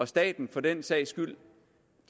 staten for den sags skyld